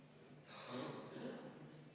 Ettepanek leidis toetust.